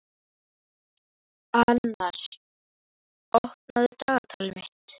Annarr, opnaðu dagatalið mitt.